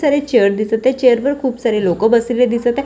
खूप सारे चेअर दिसत आहेत चेअर वर खूप सारे लोक बसलेले दिसत आहेत.